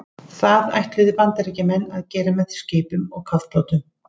Það ætluðu Bandaríkjamenn að gera með skipum og kafbátum.